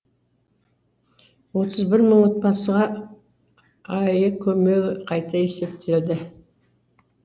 отыз бір мың отбасыға аәк көлемі қайта есептелді